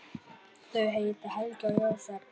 Þau heita Helga og Jósep.